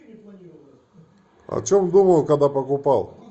о чем думал когда покупал